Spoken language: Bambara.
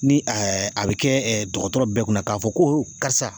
Ni ɛɛ a be kɛ ɛɛ dɔgɔtɔrɔ bɛɛ kunna k'a fɔ ko o karisa